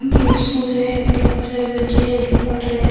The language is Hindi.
ये स्कूल है यहां पे काफी सारे बच्चे जोकि पढ़ रहे है।